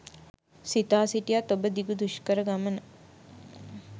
සිතා සිටියත් ඔබ දිගු දුෂ්කර ගමන